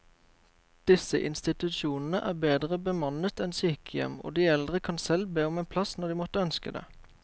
Disse institusjonene er bedre bemannet enn sykehjem, og de eldre kan selv be om en plass når de måtte ønske det.